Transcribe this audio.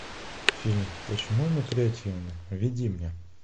фильм почему мы креативны введи мне